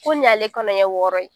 Ko nin y'ale kɔnɔ ɲɛ wɔɔrɔ ye